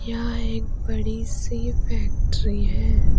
यहां एक बड़ी सी फैक्ट्री है।